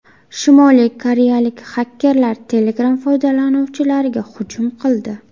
Shimoliy koreyalik xakerlar Telegram foydalanuvchilariga hujum qildi.